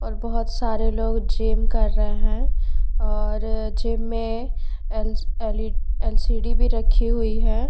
और बहुत सारे लोग जिम के रहे है और जिम मे एल एल_ ई_ एल_सी_डी भी रखी हुई है।